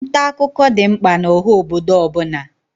Nta akụkọ dị mkpa n'oha obodo ọbụna.